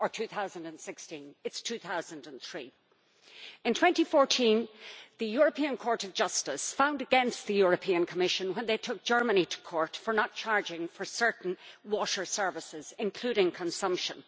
or 2016. It is 2003. In 2014, the European Court of Justice found against the European Commission when it took Germany to court for not charging for certain water services, including consumption.